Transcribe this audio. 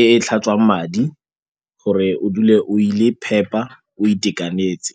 e e tlhatswang madi gore o dule o le phepa, o itekanetse.